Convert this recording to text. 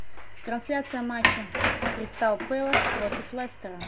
трансляция матча кристал пэлас против лестера